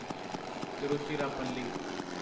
Tiruchirappalli